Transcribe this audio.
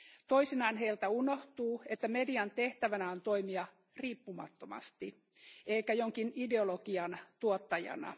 Toisinaan heiltä unohtuu, että median tehtävänä on toimia riippumattomasti eikä jonkin ideologian tuottajana.